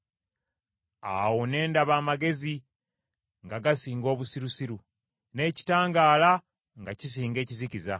Awo ne ndaba amagezi nga gasinga obusirusiru, n’ekitangaala nga kisinga ekizikiza.